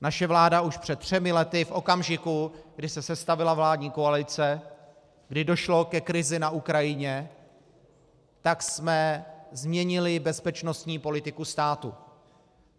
Naše vláda už před třemi lety, v okamžiku, kdy se sestavila vládní koalice, kdy došlo ke krizi na Ukrajině, tak jsme změnili bezpečnostní politiku státu.